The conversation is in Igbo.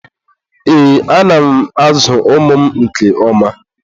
Ee, ana m ázụ̀ ụmụ m nke oma.